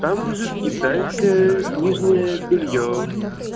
там лежит китайское нижнее бельё